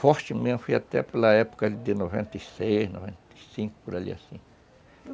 forte mesmo, fui até pela época de noventa e seis, noventa e cinco, por ali assim.